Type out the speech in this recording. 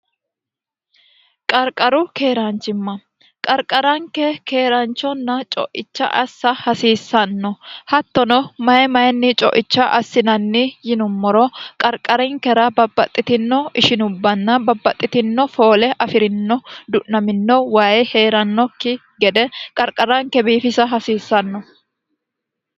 qarqaru keeraanchimma qarqaranke keeranchonna co'icha assa hasiissanno hattono mayi mayinni coicha assinanni yinummoro qarqarinkera babbaxxitino ishinubbanna babbaxxitino foole afi'rino du'namino wayi hee'rannokki gede qarqaranke biifisa hasiissanno